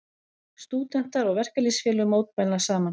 Stúdentar og verkalýðsfélög mótmæla saman